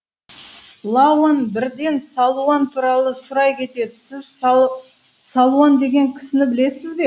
лауан бірден салуан туралы сұрай кетеді сіз салуан деген кісіні білесіз бе